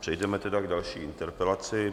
Přejdeme tedy k další interpelaci.